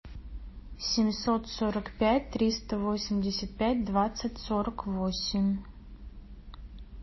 семьсот сорок пять триста восемьдесят пять двадцать сорок восемь